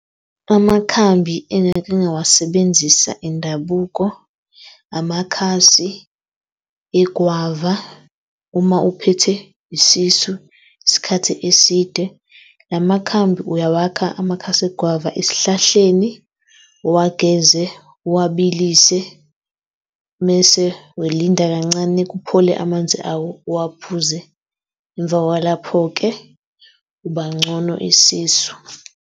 Amakhambi engake ngawasebenzisa indabuko, amakhasi egwava. Uma uphethwe isisu isikhathi eside, la makhambi uyawakha amakhasi egwava esihlahleni uwageze, uwabilise mese welinda kancane, kuphole amanzi awo uwaphuze emva kwalapho-ke ubangcono isisu.